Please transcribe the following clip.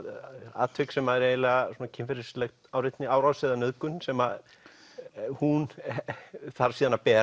atvik sem er kynferðisleg árás eða nauðgun sem hún þarf síðan að bera